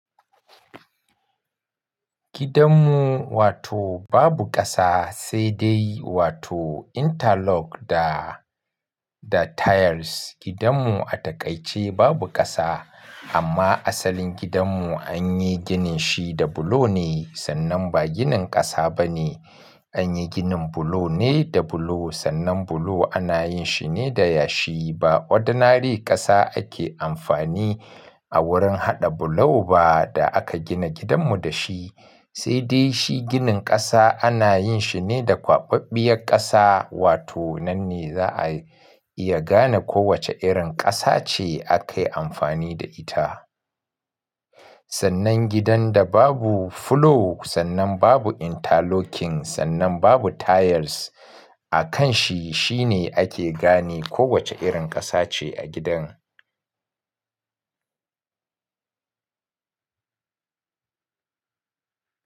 Gidanmu wato babu ƙasa sai dai wato interlock da, da tiles. Gidanmu a takaice babu ƙasa amma asalin gidanmu an yi ginin shi da bulo ne, sannan ba ginin ƙasa ba ne. An yi ginin bulo ne da bulo, sannan bulo ana yin shi ne da yashi. Ba ordinary ƙasa ake amfani a wurin haɗa bulo ba da aka gina gidanmu da shi. Sai dai shi ginin ƙasa ana yin shi ne da kwaɓaɓɓiyar ƙasa, wato nan ne za a iya gane kowace irin ƙasa ce aka yi amfani da ita. Sannan gidan da babu floor, sannan babu interlocking, sannan babu tiles a kan shi, shi ne ake gane kowace irin ƙasa ce a gidan.